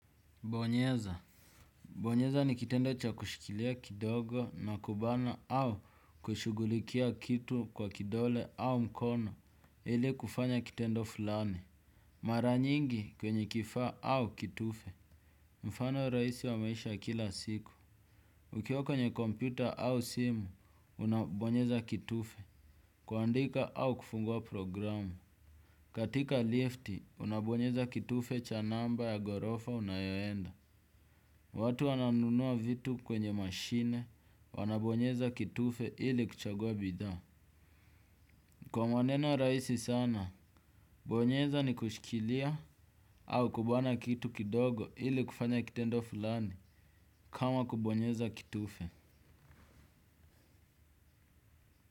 Bonyeza. Bonyeza ni kitendo cha kushikilia kidogo na kubana au kushugulikia kitu kwa kidole au mkono ili kufanya kitendo fulani. Mara nyingi kwenye kifaa au kitufe. Mfano rahisi wa maisha kila siku. Ukiwa kwenye kompyuta au simu, unabonyeza kitufe. Kuandika au kufungua programu. Katika lift, unabonyeza kitufe cha namba ya gorofa unayoenda. Watu wananunua vitu kwenye mashine wanabonyeza kitufe ili kuchagua bidha. Kwa maneno rahisi sana, bonyeza ni kushikilia au kubana kitu kidogo ili kufanya kitendo fulani kama kubonyeza kitufe.